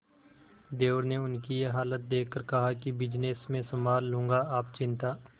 देवर ने उनकी ये हालत देखकर कहा कि बिजनेस मैं संभाल लूंगा आप चिंता